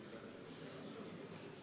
Austatud kolleegid, head tööpäeva jätku teile!